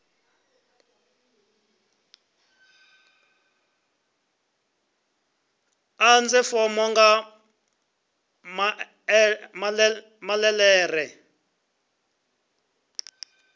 ḓadze fomo nga maḽe ḓere